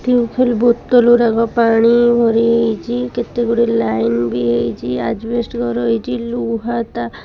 ଟିଉଲ୍ ବୋତଲ୍ ଉରାକ ପାଣି ଭରି ହେଇଚି କେତେ ଗୁଡ଼ିଏ ଲାଇନ୍ ବି ହେଇଚି ଆଜବେଷ୍ଟ ଘର ହେଇଚି ଲୁହା ତା --